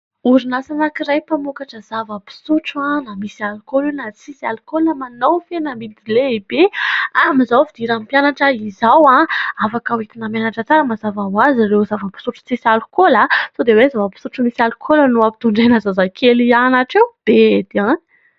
Orinasa anankiray mpamokatra zava-pisotro na misy alkaola io na tsisy alkaola. Manao fihenam-bidy lehibe amin'izao fidiran'ny mpianatra izao. Afaka entina mianatra tsara mazava ho azy ireo zava-pisotro tsisy alkaola. Sao dia hoe zava-pisotro misy alkaola no ampitodraina zazakely hianatra eo. Bedy any.